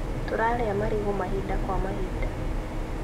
Tũrarĩa marigũ mahinda kwa mahinda